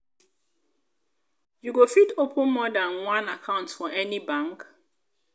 you go fit open more dan one account for any bank.